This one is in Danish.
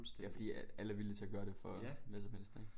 Ja fordi at alle er villige til at gøre det for hvad som helst ikke